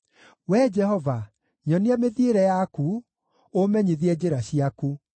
Wee Jehova, nyonia mĩthiĩre yaku, ũũmenyithie njĩra ciaku;